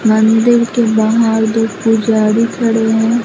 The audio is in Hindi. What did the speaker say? मंदिर के बाहर दो पुजारी खड़े हैं।